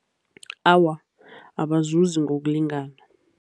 Awa, abazuzi ngokulingana.